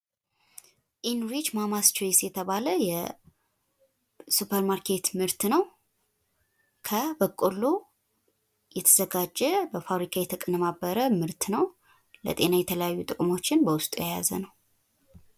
ኢንዊች ማማስ ቾይስ የተባለ የሱፐር ማርኬት ምርት ነው። ከበቆሎ የተዘጋጀ በፋብሪካ የተቀነባበረ ምርት ነው። ለጤና የተለያዩ ጥቅሞችን በውስጡ የያዘ ነው።